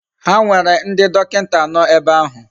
Ha nwere ndi dokinta ano ebe ahu.